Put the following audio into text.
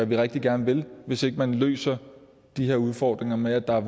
vi rigtig gerne vil hvis ikke man løser de her udfordringer med at der